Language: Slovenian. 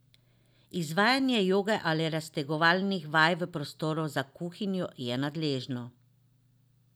Izvajanje joge ali raztegovalnih vaj v prostoru za kuhinjo je nadležno.